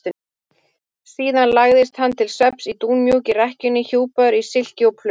Síðan lagðist hann til svefns í dúnmjúka rekkjuna hjúpaður í silki og pluss.